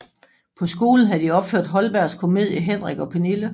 På skolen havde de opført Holbergs komedie Henrik og Pernille